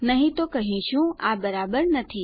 નહી તો આપણે કહીશું આ બરાબર નથી